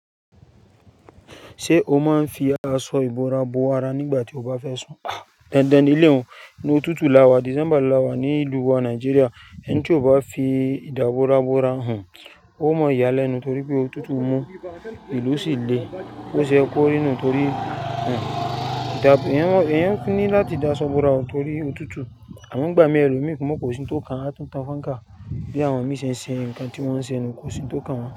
Ṣé o máa ń fi aṣọ ìbora bo ara nígbà tí o bá fẹ́ sùn? Dandan nílé oun. Inu òtútù láwà, December láwà ní ìlú wa Nàìjíríà, ẹni tí ò bá fi ìdábora bora hun, ó mọ ìyà lẹ́nu torí pé òtútù mú, ìlú sì le. Boṣe yẹ́ kórí nù torí hun èèyàn fi ni láti dáa sọ́bora torí òtútù àmọ́ ìgbà mì ẹlómíì ko sin tó kan á túntàn fáńkà bí àwọn mìí ṣe ń ṣe ǹkan tí wọ́n ń ṣe nu kò sin ń tó kàn wọ́n.